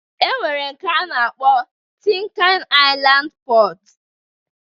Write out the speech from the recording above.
E nwere nke a na-akpọ Tin kan Ailand Pọt